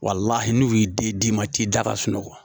n'u y'i den d'i ma k'i da ka sunɔgɔ